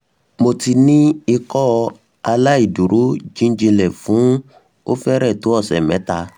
mo ti ni ikọaláìdúró jijinlẹ fun o fẹrẹ to ọsẹ mẹta